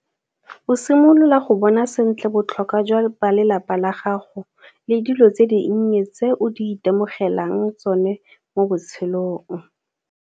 O simolola go bona sentle botlhokwa jwa balelapa la gago le dilo tse dinnye tse o di itemogelang tsone mo botshelong.